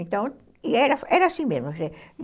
Então, e era era assim mesmo.